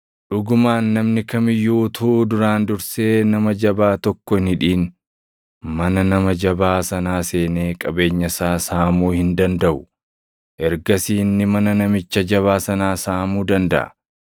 Dhugumaan namni kam iyyuu utuu duraan dursee nama jabaa tokko hin hidhin, mana nama jabaa sanaa seenee qabeenya isaa saamuu hin dandaʼu. Ergasii inni mana namicha jabaa sanaa saamuu dandaʼa.